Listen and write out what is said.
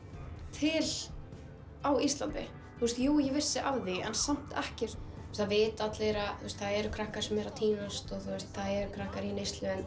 til á Íslandi jú ég vissi af því en samt ekki það vita allir að það eru krakkar sem eru að týnast það eru krakkar í neyslu en